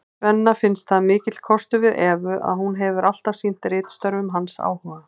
Svenna finnst það mikill kostur við Evu að hún hefur alltaf sýnt ritstörfum hans áhuga.